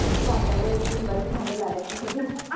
जाताना निंबाची लागायची तिथे.